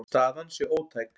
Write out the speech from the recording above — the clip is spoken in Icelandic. Staðan sé ótæk.